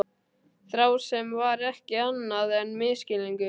Þrá sem var ekki annað en misskilningur.